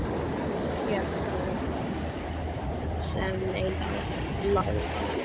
Hélt hún sem leið lá að